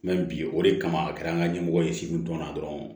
bi o de kama a kɛra an ka ɲɛmɔgɔ ye segu dɔn na dɔrɔn